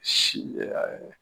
Si